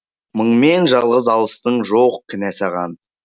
мыңмен жалғыз алыстың жоқ кінә саған